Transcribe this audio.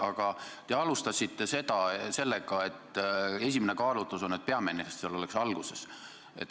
Aga te alustasite sellega, et esimene argument on, et peaminister vastaks kõige alguses.